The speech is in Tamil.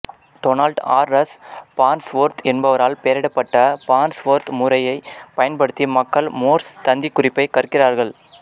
டொனால்ட் ஆர் ரஸ் ஃபார்ன்ஸ்வொர்த் என்பவரால் பெயரிடப்பட்ட ஃபார்ன்ஸ்வொர்த் முறையைப் பயன்படுத்தி மக்கள் மோர்ஸ் தந்திக்குறிப்பைக் கற்கிறார்கள்